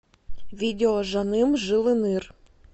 видео жаным жылыныр